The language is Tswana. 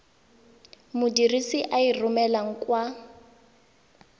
modirisi a e romelang kwa